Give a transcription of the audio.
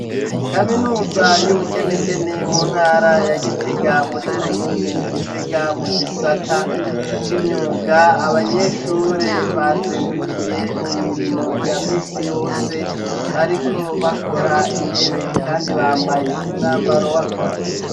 Kaminuza y'ubugenegene mu ntara ya gitega muri komine gitega mu gisata c'imyuga abanyeshure bazindukiye mu mirimo ya misi yose bariko bakora intebe kandi bambaye umwambaro w'akazi.